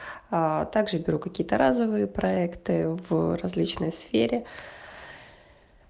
аа также беру какие-то разовые проекты в различной сфере